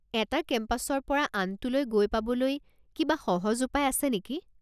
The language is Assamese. এটা কেম্পাছৰ পৰা আনটোলৈ গৈ পাবলৈ কিবা সহজ উপায় আছে নেকি?